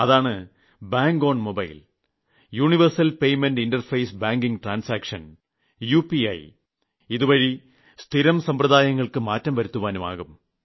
അതാണ് bank on mobile universal payment interface banking transaction UPI ഇതുവഴി സ്ഥിരം സമ്പ്രദായങ്ങൾക്ക് മാറ്റം വരുത്തുവാനുമാകും